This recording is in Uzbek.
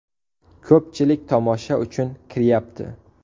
Ko‘pchilik tomosha uchun kiryapti.